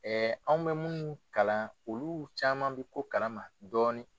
an bɛ minnu kalan olu caman bɛ ko kalama dɔɔnin.